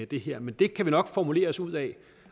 det her men det kan vi nok formulere os ud af